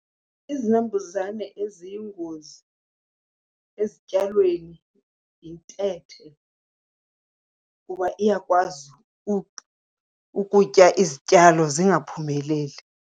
Izinambuzane eziyingozi ezityalweni yintethe kuba iyakwazi ukutya izityalo zingaphumeleli.